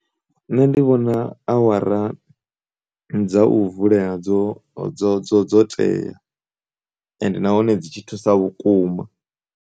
Nṋe ndi vhona awara dza u vule dzo, dzo, dzo, dzo tea ende na hone dzi tshi thusa vhukuma.